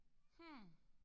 Hm